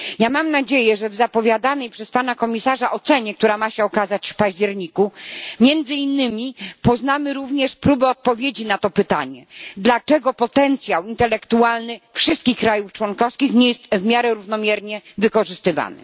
Mam nadzieję, że w zapowiadanej przez Pana Komisarza ocenie, która ma się ukazać w październiku, poznamy między innymi próby odpowiedzi na pytanie, dlaczego potencjał intelektualny wszystkich krajów członkowskich nie jest możliwie równomiernie wykorzystywany.